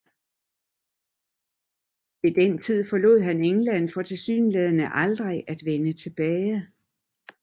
Ved den tid forlod han England for tilsyneladende aldrig at vende tilbage